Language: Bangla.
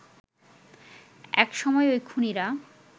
এক সময় ওই খুনীরা